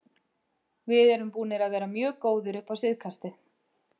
Við erum búnir að vera mjög góðir upp á síðkastið.